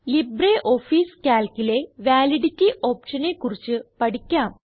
LibreOffice Calcലെ validity ഓപ്ഷനെ കുറിച്ച് പഠിക്കാം